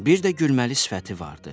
Bir də gülməli sifəti vardı.